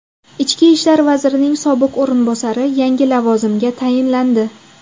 Ichki ishlar vazirining sobiq o‘rinbosari yangi lavozimga tayinlandi.